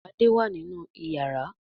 Ade wá nínú iyàrá.